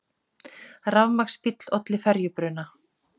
Rafmagnsbíll olli ferjubruna